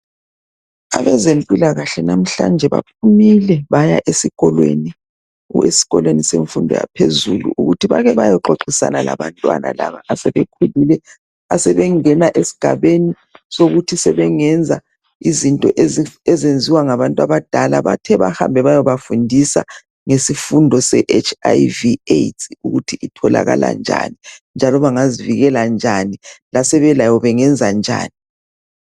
Abezempilakahle namhlanje baphumile baya esikolweni semfundo yaphezulu ukuthi bake bayexoxisana labantwana laba asebekhulile asebengena esigabeni ukuthi sebengenza izinto ezenziwa ngabantu abadala. Bathe bahambe bayabafundiso ngesifo se HIV, AIDS ukuthi itholakala njani njalo bangazivikela njani lasebelayo bangenza njani.